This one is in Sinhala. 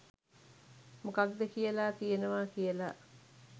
මොකක්ද කියලා තියෙනවා කියලා